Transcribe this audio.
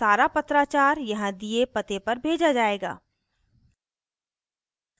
सारा पत्राचार यहाँ दिए पते पर भेजा जायेगा